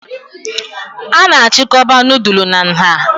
A na-achịkọba nudulu na nha